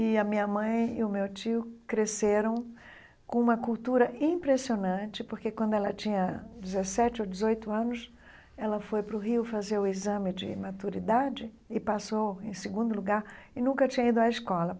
E a minha mãe e o meu tio cresceram com uma cultura impressionante, porque quando ela tinha dezessete ou dezoito anos, ela foi para o Rio fazer o exame de maturidade e passou em segundo lugar e nunca tinha ido à escola.